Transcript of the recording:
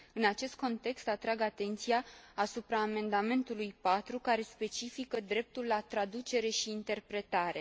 În acest context, atrag atenția asupra amendamentului 4, care specifică dreptul la traducere și interpretare.